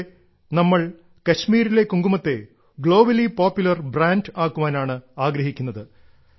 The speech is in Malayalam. ഇതിലൂടെ നമ്മൾ കശ്മീരിലെ കുങ്കുമത്തെ ഒരു ഗ്ലോബലി പോപ്പുലർ ബ്രാൻഡ് ആക്കാനാണ് ആഗ്രഹിക്കുന്നത്